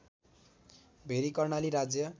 very Karnali राज्य